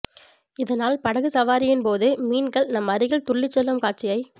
இதனால் படகு சவாரியின் போது மீன்கள் நம் அருகில் துள்ளிச்செல்லும் காட்சியை